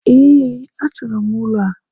Ee, a chọọrọ m ụlọ a.